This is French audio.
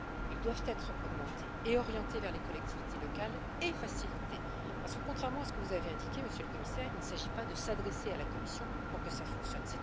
Ils doivent être augmentés, orientés vers les collectivités locales et facilités, parce que, contrairement à ce que vous avez indiqué, Monsieur le Commissaire, il ne s'agit pas de s'adresser à la Commission pour que cela fonctionne.